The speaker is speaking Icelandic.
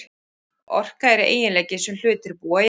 Orka er eiginleiki sem hlutir búa yfir.